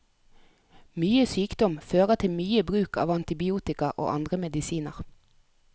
Mye sykdom fører til mye bruk av antibiotika og andre medisiner.